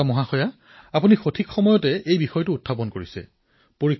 শ্বেতাজী আপুনি সঠিক সময়তেই এই বিষয়ৰ অৱতাৰণা কৰিছে